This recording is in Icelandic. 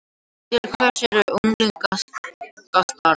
Til hvers er unglingastarf